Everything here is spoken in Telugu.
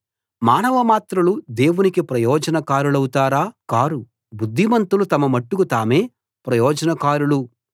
మానవమాత్రులు దేవునికి ప్రయోజనకారులౌతారా కారు బుద్ధిమంతులు తమ మట్టుకు తామే ప్రయోజనకారులు